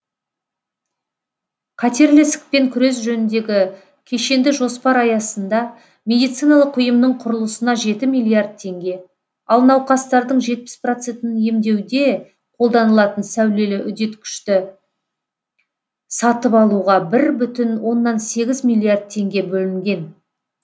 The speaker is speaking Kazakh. қатерлі ісікпен күрес жөніндегі кешенді жоспар аясында медициналық ұйымның құрылысына жеті миллиард теңге ал науқастардың жетпіс процентін емдеуде қолданылатын сәулелі үдеткішті сатып алуға бір бүтін оннан сегіз миллиард теңге бөлінген